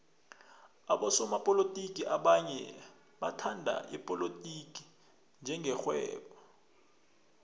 abosopolotiki abanye bathhatha ipolotiki njenge rhwebo